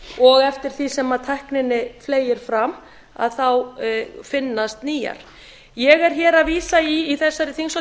og eftir því sem tækninni fleygir fram þá finnast nýjar ég er í þessari þingsályktunartillögu